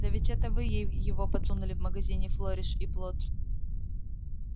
да ведь это вы ей его подсунули в магазине флориш и блоттс